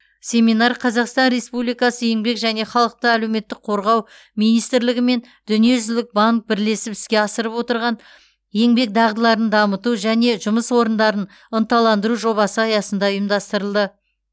семинар қазақстан республикасы еңбек және халықты әлеуметтік қорғау министрлігі мен дүниежүзілік банк бірлесіп іске асырып отырған еңбек дағдыларын дамыту және жұмыс орындарын ынталандыру жобасы аясында ұйымдастырылды